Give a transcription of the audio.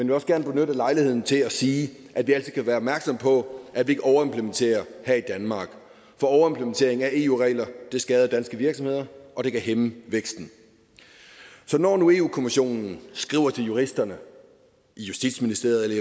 vil også gerne benytte lejligheden til at sige at vi altid skal være opmærksomme på at vi ikke overimplementerer her i danmark for overimplementering af eu regler vil skade danske virksomheder og det kan hæmme væksten så når nu europa kommissionen skriver til juristerne i justitsministeriet